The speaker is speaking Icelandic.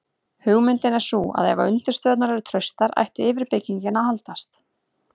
hugmyndin er sú að ef undirstöðurnar eru traustar ætti yfirbyggingin að haldast